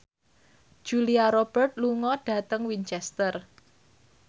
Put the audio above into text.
Julia Robert lunga dhateng Winchester